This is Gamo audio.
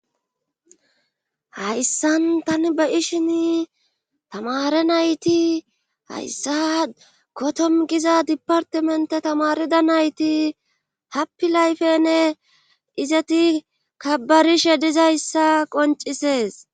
hayssan tani ba ishin tamare nayti hayssa kotom giza dipartimente tamarida nayti happi layfene izati kabarishe dizayssa qoncisees